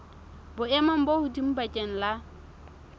boemong bo hodimo bakeng la